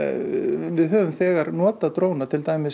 við höfum þegar notað dróna til dæmis